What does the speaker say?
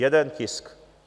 Jeden tisk.